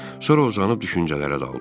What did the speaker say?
Sonra uzun düşüncələrə daldım.